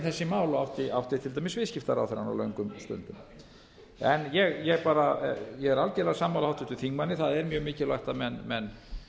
þessi mál og átti til dæmis viðskiptaráðherrann á löngum stundum en ég bara er algerlega sammála háttvirtum þingmanni það er mjög mikilvægt að menn